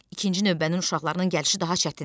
İkinci növbənin uşaqlarının gəlişi daha çətindir.